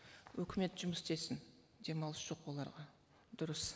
өкімет жұмыс істесін демалыс жоқ оларға дұрыс